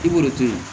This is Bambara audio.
I b'o de to yen